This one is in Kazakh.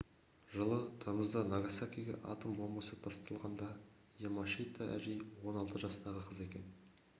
жылы тамызда нагасакиге атом бомбасы тасталғанда ямашита әжей он алты жастағы қыз екен